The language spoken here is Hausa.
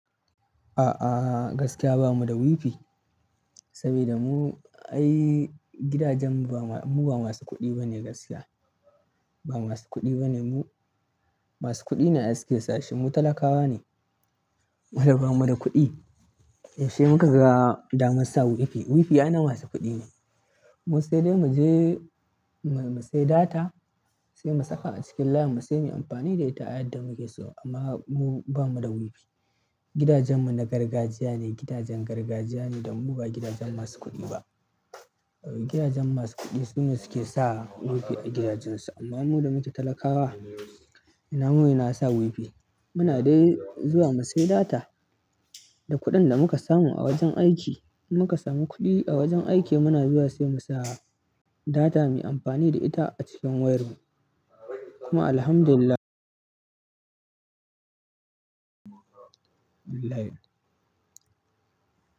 A'a, gaskiya bamu da Wi-Fi saboda mu, ai gidajen mu ba masu kuɗi ba ne gaskiya. Ba masu kuɗi ba ne mu. Masu kuɗi ne ai suke sashi. Mu talakawa ne, mu da ba mu da kuɗi. Yaushe muka ga damar sa Wi-Fi? Wi-Fi ai na masu kuɗi ne. Mu sai dai mu je mu sai data, sai mu saka a cikin layinmu sai mu yi amfani da ita a yadda muke so amma mu bamu da Wi-Fi. Gidajenmu na gargajiya ne, gidajen gargajiya ne da mu ba gidajen masu kuɗi ba. Gidajen masu kuɗi su ne suke sa Wi-Fi a gidajensu amma mu da muke talakawa ina muyi ina sa Wi-Fi? Muna dai zuwa mu sai data da kuɗin da muka samu a wajen aiki. In muka samu kuɗi a wajen aiki muna zuwa sai mu sa data muyi amfani da ita a cikin wayarmu kuma Alhamdulillah.